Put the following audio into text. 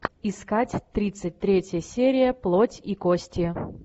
искать тридцать третья серия плоть и кости